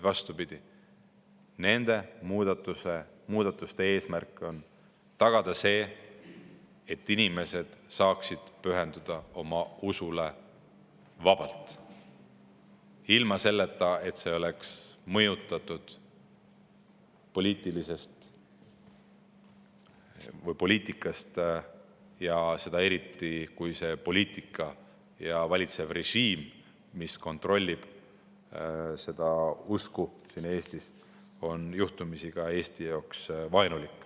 Vastupidi, nende muudatuste eesmärk on tagada see, et inimesed saaksid pühenduda oma usule vabalt, ilma et see oleks mõjutatud poliitikast, eriti siis, kui see poliitika ja valitsev režiim, mis kontrollib seda usku siin Eestis, on juhtumisi Eesti jaoks vaenulik.